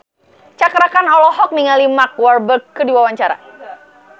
Cakra Khan olohok ningali Mark Walberg keur diwawancara